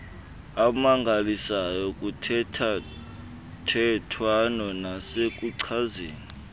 amangalisayo kuthethathethwano nasekuchazeni